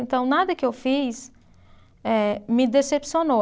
Então, nada que eu fiz, eh me decepcionou.